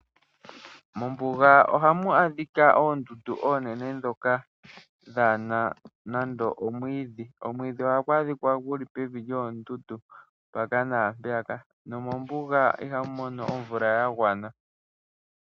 Mombuga ohamu adhika oondundu oonene ndhoka dhana nando omwiidhi, kmwiidhi ohagu adhika gu li evi lyoondundu mpaka naampeyaka, nomo mbuga ihamu mono omeya ga gwana.